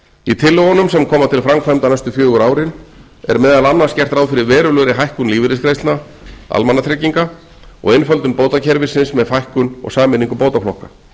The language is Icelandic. í tillögunum sem koma til framkvæmda næstu fjögur árin er meðal annars gert ráð fyrir verulegri hækkun lífeyrisgreiðslna almannatrygginga og einföldun bótakerfisins með fækkun og sameiningu bótaflokka